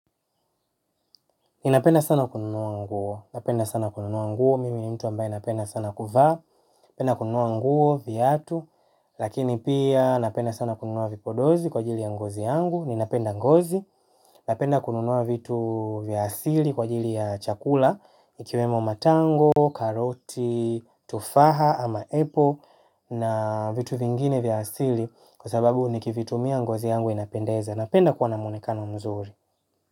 Ninapenda sana kununua nguo, napenda sana kununua nguo, mimi ni mtu ambaye napenda sana kuvaa, napenda kununua nguo, viatu, lakini pia napenda sana kununua vipodozi kwa ajili ya ngozi yangu, ninapenda ngozi, napenda kununua vitu vya asili kwa ajili ya chakula, ikiwemo matango, karoti, tufaha ama apple na vitu vingine vya asili kwa sababu nikivitumia ngozi yangu inapendeza napenda kuwa na mwonekano mzuri.